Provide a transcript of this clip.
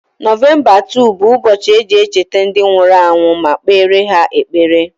Novemba 2 bụ ụbọchị eji echeta ndi nwuru anwu ma kpere ha ekpere.